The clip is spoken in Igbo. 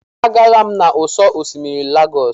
Agaala m n'ụ́sọ̀ osimiri Lagos.